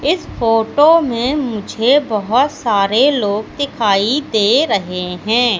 इस फोटो में मुझे बहोत सारे लोग दिखाई दे रहे हैं।